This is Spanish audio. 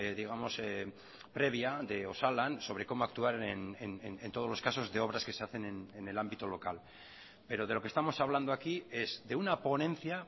digamos previa de osalan sobre cómo actuar en todos los casos de obras que se hacen en el ámbito local pero de lo que estamos hablando aquí es de una ponencia